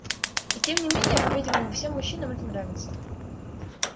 и тем не менее по-видимому всем мужчинам это нравится